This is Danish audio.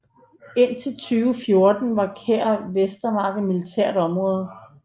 Indtil 2014 var Kær Vestermark militært område